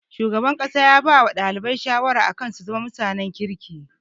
Shugaban makarantar ya bawa ɗalibai shawara akan su zama mutanen kirki